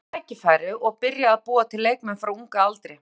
Þetta snýst um tækifæri og byrja að búa til leikmenn frá unga aldri.